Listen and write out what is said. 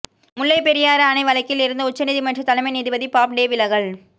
முல்லைப் பெரியாறு அணை வழக்கில் இருந்து உச்ச நீதிமன்ற தலைமை நீதிபதி பாப்டே விலகல்